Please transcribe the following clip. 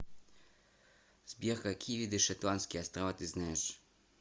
сбер какие виды шетландские острова ты знаешь